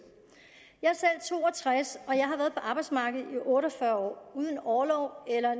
jeg er selv to og tres og jeg har været på arbejdsmarkedet i otte og fyrre år uden orlov eller